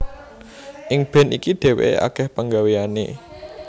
Ing band iki dhéwéké akèh pagawéyané